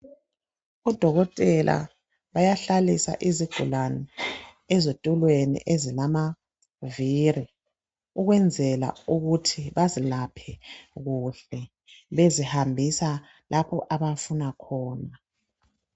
Odokotela bayahlalisa isigulane ezithulweni ezilamavili. Ukwenzela ukuthi bazilaphe kuhle. Bezihambise lapho abafuna khona.